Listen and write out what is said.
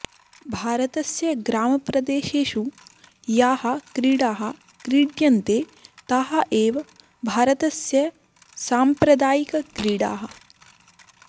भारतस्य ग्रामप्रदेशेषु याः क्रीडाः क्रीड्यन्ते ताः एव भारतस्य साम्प्रदायिकक्रीडाः